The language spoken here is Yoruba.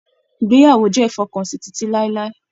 Ìgbéyàwó jẹ ifọkansi titi lailai.